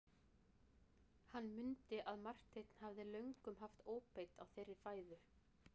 Hann mundi að Marteinn hafði löngum haft óbeit á þeirri fæðu.